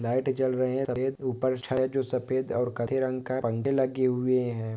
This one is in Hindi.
लाइट जल रहे हैं। सफेद ऊपर चले जो सफेद और काटे रंगका पंख लगी हुए हे।